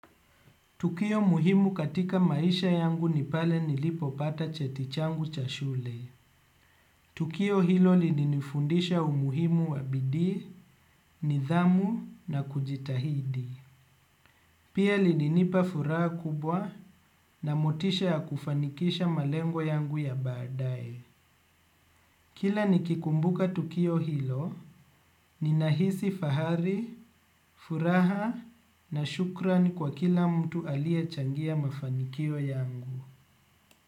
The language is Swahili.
Tukio muhimu katika maisha yangu nipale nilipo pata chetichangu chashule. Tukio hilo lili nifundisha umuhimu wabidii, nidhamu na kujitahidi. Pia lili nipa furaha kubwa na motisha ya kufanikisha malengo yangu ya baadaye. Kila nikikumbuka tukio hilo, ninahisi fahari, furaha na shukran kwa kila mtu aliye changia mafanikio yangu.